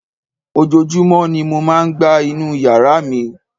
Ojoojúmọ́ ni mo máa ń gbá inú yàrá mi